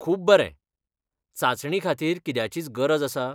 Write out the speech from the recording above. खूब बरें! चांचणी खातीर कित्याचीच गरज आसा?